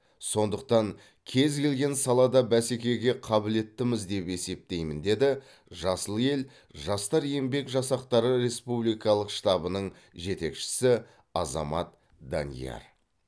сондықтан кез келген салада бәсекеге қабілеттіміз деп есептеймін деді жасыл ел жастар еңбек жасақтары республикалық штабының жетекшісі азамат данияр